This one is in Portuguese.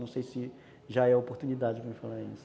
Não sei se já é oportunidade para me falar isso.